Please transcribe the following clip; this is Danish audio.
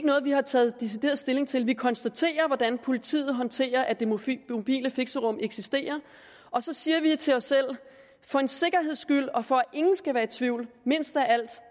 noget vi har taget decideret stilling til vi konstaterer hvordan politiet håndterer at det mobile fixerum eksisterer og så siger vi til os selv for en sikkerheds skyld og for at ingen skal være i tvivl mindst af alt